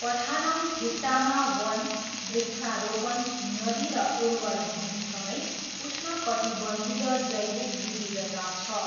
पठानमथिट्टामा वन, वृक्षारोपण, नदी र उर्वर भूमिसगैँ उष्णकटिबन्धीय जैविक विविधता छ।